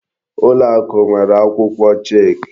Ụlọakụ nwèrè akwụkwọ chek.